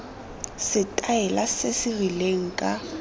setaele se se rileng ka